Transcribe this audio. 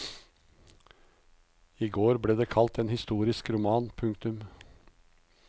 I går ble det kalt en historisk roman. punktum